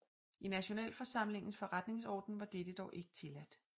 I Nationalforsamlingens forretningsorden var dette dog ikke tilladt